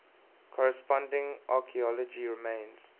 corresponding archaeology remains